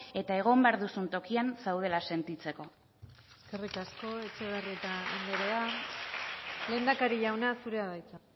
eta egon behar duzun tokian zaudela sentitzeko eskerrik asko etxebarrieta anderea lehendakari jauna zurea da hitza